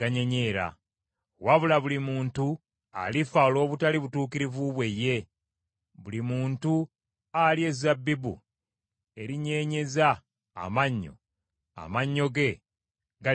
Wabula buli muntu alifa olw’obutali butuukirivu bwe ye, buli muntu alya ezabbibu erinyenyeeza amannyo, amannyo ge galinyenyeera.